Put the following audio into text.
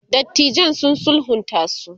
dattijan sun sulhunta su